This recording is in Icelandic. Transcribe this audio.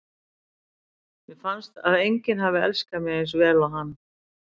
Mér finnst að enginn hafi elskað mig eins vel og hann.